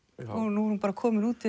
nú er hún komin út